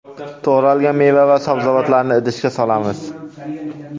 To‘g‘ralgan meva va sabzavotlarni idishga solamiz.